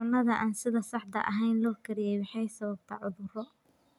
Cunnada aan sida saxda ahayn loo kariyey waxay sababtaa cudurro.